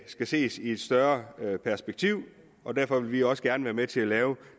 skal ses i et større perspektiv og derfor vil vi også gerne være med til at lave